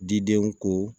Didenw ko